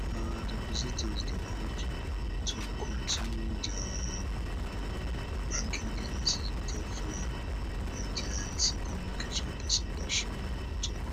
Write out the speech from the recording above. um depositors dey urge to kontinu dia um banking businesses without fear ndic communication pesin bashir nuhu tok